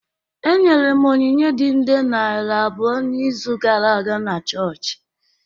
Enyere m onyinye dị nde naira abụọ n’izu gara aga na chọọchị